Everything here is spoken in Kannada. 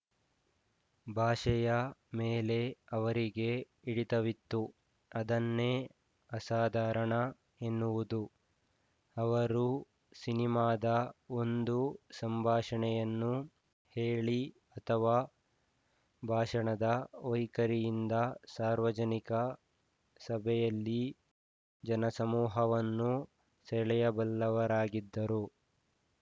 ಭಾಷೆಯ ಮೇಲೆ ಅವರಿಗೆ ಹಿಡಿತವಿತ್ತು ಅದನ್ನೇ ಅಸಾಧಾರಣ ಎನ್ನುವುದು ಅವರು ಸಿನಿಮಾದ ಒಂದು ಸಂಭಾಷಣೆಯನ್ನು ಹೇಳಿ ಅಥವಾ ಭಾಷಣದ ವೈಖರಿಯಿಂದ ಸಾರ್ವಜನಿಕ ಸಭೆಯಲ್ಲಿ ಜನಸಮೂಹವನ್ನು ಸೆಳೆಯಬಲ್ಲವರಾಗಿದ್ದರು